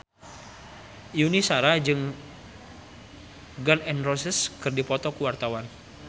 Yuni Shara jeung Gun N Roses keur dipoto ku wartawan